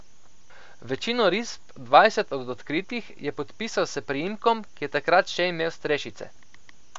Večino risb, dvajset od odkritih, je podpisal s priimkom, ki je takrat še imel strešice.